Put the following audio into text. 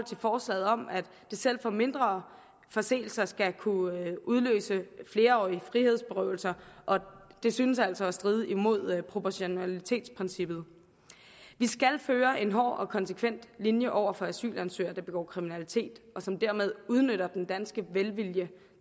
forslaget om at selv mindre forseelser skal kunne udløse flerårig frihedsberøvelse det synes altså at stride imod proportionalitetsprincippet vi skal føre en hård og konsekvent linje over for asylansøgere der begår kriminalitet og som dermed udnytter den danske velvilje